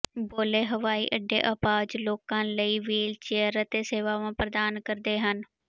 ਬੋਲੇ ਹਵਾਈ ਅੱਡੇ ਅਪਾਹਜ ਲੋਕਾਂ ਲਈ ਵ੍ਹੀਲਚੇਅਰ ਅਤੇ ਸੇਵਾਵਾਂ ਪ੍ਰਦਾਨ ਕਰਦੇ ਹਨ